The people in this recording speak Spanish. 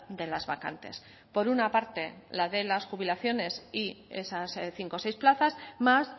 de las vacantes por una parte la de las jubilaciones y esas cinco seis plazas más